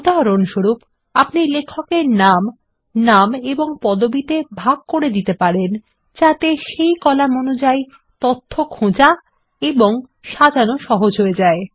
উদাহরণস্বরূপ আপনি লেখকদের নাম নাম ও পদবিতে বিভক্ত করতে পারেন যাতে সেই কলাম অনুযায়ী খোঁজা বা সাজানো সহজ হয়ে যায়